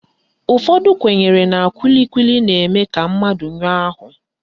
Ụfọdụ kwenyere na kwili kwili na-eme ka mmadụ nyụọ áhụ̀